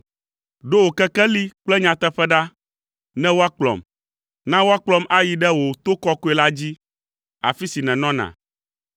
Ɖo wò kekeli kple nyateƒe ɖa, ne woakplɔm; na woakplɔm ayi ɖe wò to kɔkɔe la dzi, afi si nènɔna.